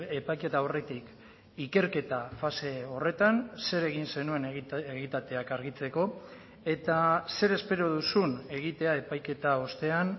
epaiketa aurretik ikerketa fase horretan zer egin zenuen egitateak argitzeko eta zer espero duzun egitea epaiketa ostean